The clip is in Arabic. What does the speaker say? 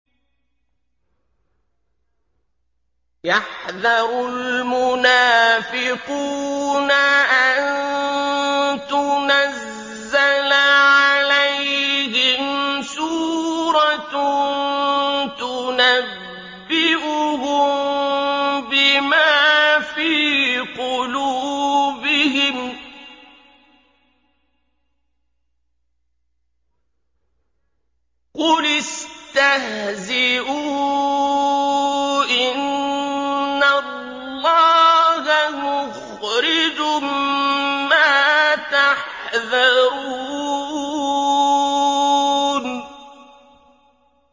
يَحْذَرُ الْمُنَافِقُونَ أَن تُنَزَّلَ عَلَيْهِمْ سُورَةٌ تُنَبِّئُهُم بِمَا فِي قُلُوبِهِمْ ۚ قُلِ اسْتَهْزِئُوا إِنَّ اللَّهَ مُخْرِجٌ مَّا تَحْذَرُونَ